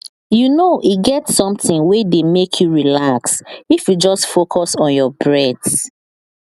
you know e get something wey dey make you relax if you just focus on your breath